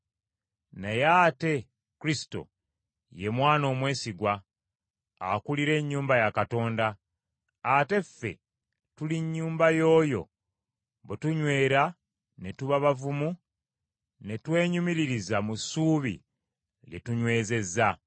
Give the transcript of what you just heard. Naye ate Kristo ye Mwana omwesigwa, akulira ennyumba ya Katonda; ate ffe tuli nnyumba y’oyo bwe tunywera ne tuba bavumu ne twenyumiririza mu ssuubi lye tunywezezza.